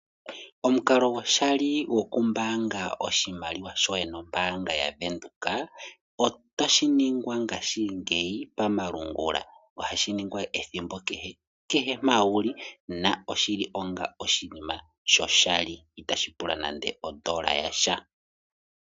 Omukalo gwoshali gokumbaanga oshimaliwa shoye nombaanga yaBank Windhoek otashi ningwa ngashingeyi pamalungula. Ohashi ningwa ethimbo kehe, kehe mpa wuli na oshili onga oshinima shoshali, itashi pula nande ondola yasha.